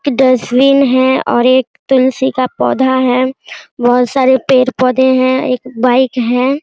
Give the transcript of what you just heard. एक डस्टबिन है और एक तुलसी का पौधा है बहोत सारे पेड़-पौधे हैं एक बाइक है।